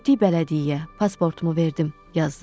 Getdik bələdiyyəyə, pasportumu verdim, yazdılar.